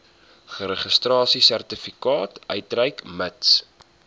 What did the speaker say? registrasiesertifikaat uitreik mits